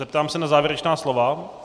Zeptám se na závěrečná slova.